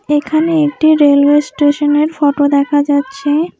এখানে একটি railway station -এর ফটো দেখা যাচ্ছে।